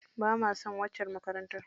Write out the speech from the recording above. Bama son waccar makarantar.